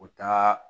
U taa